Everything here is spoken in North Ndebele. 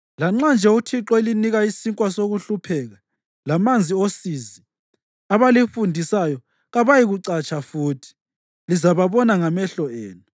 Lanxa nje uThixo elinika isinkwa sokuhlupheka lamanzi osizi, abalifundisayo kabayikucatsha futhi; lizababona ngamehlo enu.